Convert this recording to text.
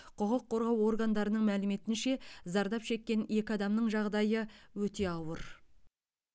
құқық қорғау органдарының мәліметінше зардап шеккен екі адамның жағдайы өте ауыр